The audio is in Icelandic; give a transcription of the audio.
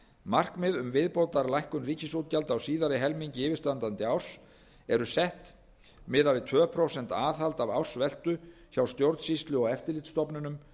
markmið um viðbótarlækkun rekstrarútgjalda á síðari helmingi yfirstandandi árs eru sett miðað við tvö prósent aðhald af ársveltu hjá stjórnsýslu og eftirlitsstofnunum